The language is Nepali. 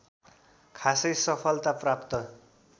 खासै सफलता प्राप्त